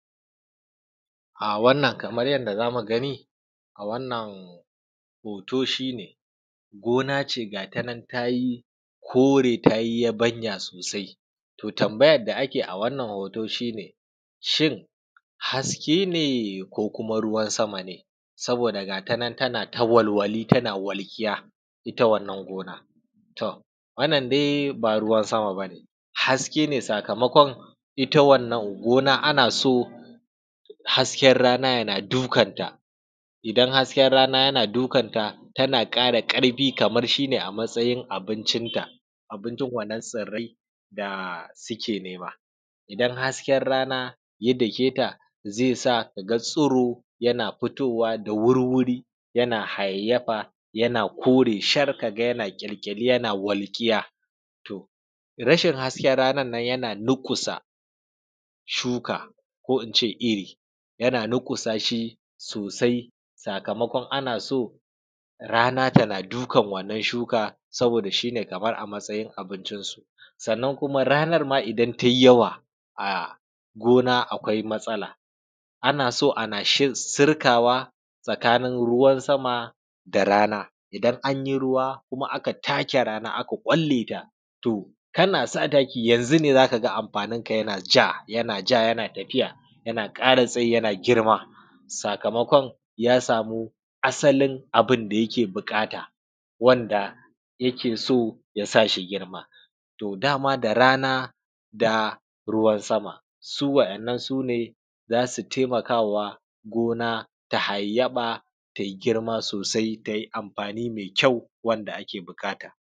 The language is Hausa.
A wannan kamar yadda zamu gani a wannan hoto shine gona ce gashinan tayi kore tayi yabanya sosai. To tambayan a keyi a wannan hoto shine shin haske ne ko kuma ruwan sama ne saboda gashinan tana ta walwali tana walƙiya itta wannan gonan. Wannan dai ba ruwan sama bane kaske ne sakamakon itta wannan gona a naso hasken rana yana dukan ta, idan hasken rana yana dukan ta tana ƙara ƙarfi kamar shine a matsayin abincin ta. Abunjin wannan tsirrai da suke nama idan hasken rana daketa zai sa kaga tsiro yana fitowa da wurwuri yana hayayyafa yana kore shar yana kyalkyali yana walƙiya rashin hasken ranan nan yana durƙusa shuka ko ince irri. Durƙusa shi sosai sakamakon anaso rana dukan wannan shuka saboda shine Kaman a matsayin abincin su, sannan kuma ranan ma idan tai yawa a gona akwai matsala anaso ana sirkawa tsakanin ruwan sama da rana. Idan anyi ruwa kuma aka take rana aka kwalle to kana sa taki yanzu ne zakaga amfanin ka yanaja yanaja yana ƙara tsayi yana girma sakamakon ya samu asalin abunda yake buƙata wanda yake so ya sashi girma, dama da rana da ruwan sama su waɗannan sune zasu taimakawa gona ta hayayyafa tayi girma sosai tayi amfani mai kyau wanda ake buƙata.